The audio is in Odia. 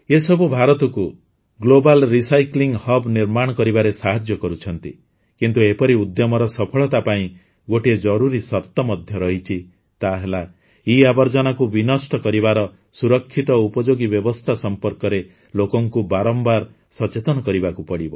ଏ ସବୁ ଭାରତକୁ ଗ୍ଲୋବାଲ୍ ରିସାଇକ୍ଲିଂ ହବ୍ ନିର୍ମାଣ କରିବାରେ ସାହାଯ୍ୟ କରୁଛନ୍ତି କିନ୍ତୁ ଏପରି ଉଦ୍ୟମର ସଫଳତା ପାଇଁ ଗୋଟିଏ ଜରୁରୀ ସର୍ତ ମଧ୍ୟ ରହିଛି ତାହା ହେଲା ଇଆବର୍ଜନାକୁ ବିନଷ୍ଟ କରିବାର ସୁରକ୍ଷିତ ଉପଯୋଗୀ ବ୍ୟବସ୍ଥା ସମ୍ପର୍କରେ ଲୋକଙ୍କୁ ବାରମ୍ବାର ସଚେତନ କରିବାକୁ ପଡ଼ିବ